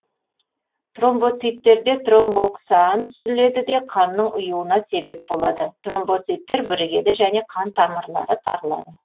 тромбоциттерде тромбоксан түзіледі де қанның ұюына себеп болады тромбоциттер бірігеді және қан тамырлары тарылады